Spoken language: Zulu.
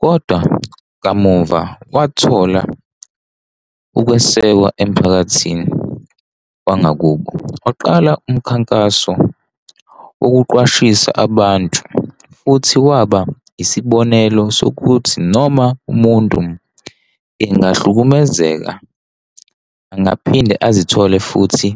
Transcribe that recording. Kodwa kamuva wathola ukwesekwa emphakathini wangakubo waqala umkhankaso wokuqwashisa abantu futhi kwaba isibonelo sokuthi noma umuntu engahlukumezeka angaphinde azithole futhi